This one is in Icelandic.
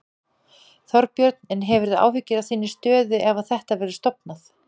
Þorbjörn: En hefurðu áhyggjur af þinni stöðu ef að þetta verður stofnað?